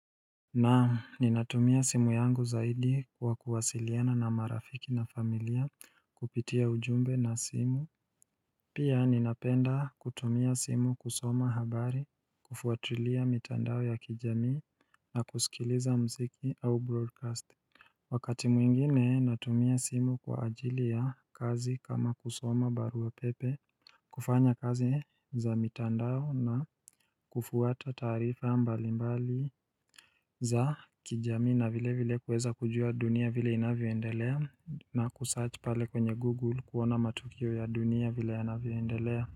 Naam ninatumia simu yangu zaidi kwa kuwasiliana na marafiki na familia kupitia ujumbe na simu Pia ninapenda kutumia simu kusoma habari kufuatulia mitandao ya kijamii na kusikiliza muziki au broadcast Wakati mwingine natumia simu kwa ajili ya kazi kama kusoma barua pepe kufanya kazi za mitandao na kufuata taarifa mbalimbali za kijamii na vile vile kuweza kujua dunia vile inavyoendelea na kusearch pale kwenye google kuona matukio ya dunia vile yanavyoendelea.